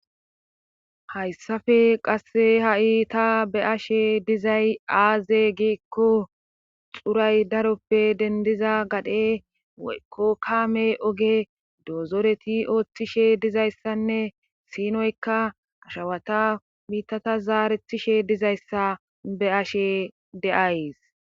hayssafe qasse ha7i ta beyashe dizay aaze giikko xuray daroppe dendiza gadhe woykko kaame oge doozoreti ooththishe dizayssanne sinoykka ashawata mitata zaarethishe dizayssa be ashe de7ays